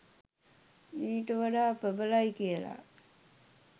ඊට වඩා ප්‍රබලයි කියලා.